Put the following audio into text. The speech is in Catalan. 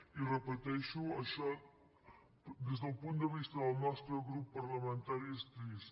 i ho repeteixo això des del punt de vista del nostre grup parlamentari és trist